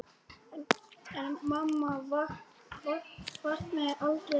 En mamma vaknaði aldrei aftur.